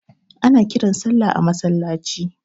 Ana kiran sallah a masallaci.